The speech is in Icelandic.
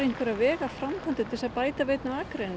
í vegaframkvæmdir til þess að bæta við einni akrein